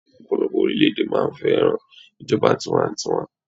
ọpọlọpọ orilẹ ede máa fẹràn ijoba tiwantiwa